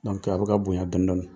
a be ka bonɲa dɔɔni dɔɔni.